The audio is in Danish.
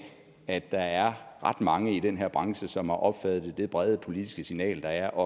at der er ret mange i den her branche som har opfattet det brede politiske signal der er og